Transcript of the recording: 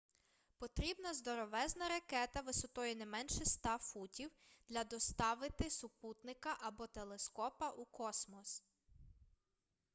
потрібна здоровезна ракета висотою не менше 100 футів для доставити супутника або телескопа у космос